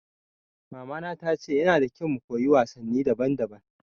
Mama na ta ce ya na da kyau mu koyi wasanni daban daban